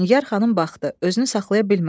Nigər xanım baxdı, özünü saxlaya bilmədi.